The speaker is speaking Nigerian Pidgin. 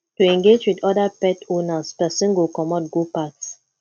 to engage with oda pet owners person go comot go packs